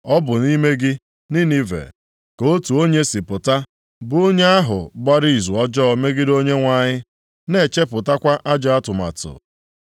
Ọ bụ nʼime gị, Ninive, ka otu onye si pụta, bụ onye ahụ gbara izu ọjọọ megide Onyenwe anyị, na-echepụtakwa ajọ atụmatụ.